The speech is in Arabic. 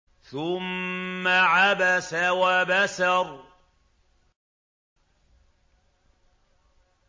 ثُمَّ عَبَسَ وَبَسَرَ